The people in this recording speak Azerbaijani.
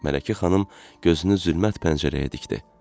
Mələkə xanım gözünü zülmət pəncərəyə dikdi.